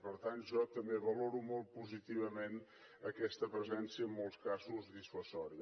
per tant jo també valoro molt positivament aquesta presència en molts casos dissuasiva